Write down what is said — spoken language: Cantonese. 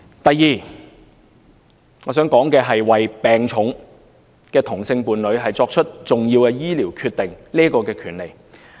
第二，為病重的同性伴侶作出重要醫療決定的權利。